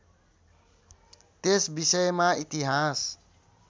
त्यस विषयमा इतिहास